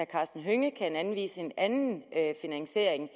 karsten hønge kan anvise en anden finansiering